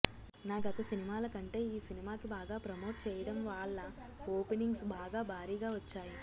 నా గత సినిమాల కంటె ఈ సినిమాకి బాగా ప్రమోట్ చేయడం వాళ్ళ ఓపెనింగ్స్ బాగా భారీగా వచ్చాయి